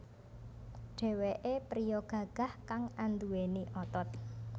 Dheweké priya gagah kang anduweni otot